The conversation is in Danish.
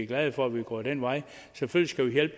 glade for at vi er gået den vej selvfølgelig